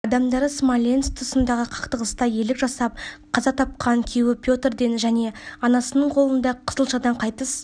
адамдары смоленск тұсындағы қақтығыста ерлік жасап қаза тапқан күйеуі петрден және анасының қолында қызылшадан қайтыс